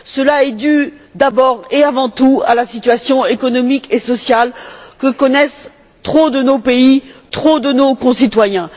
Cela est dû, d'abord et avant tout, à la situation économique et sociale que connaissent trop de nos pays et trop de nos concitoyens.